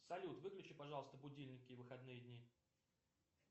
салют выключи пожалуйста будильники в выходные дни